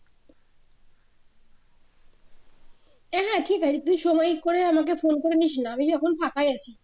হ্যা হ্যা ঠিক আছে তুই সময় করে আমাকে ফোন করে নিসনা আমি এখন ফাঁকাই আছি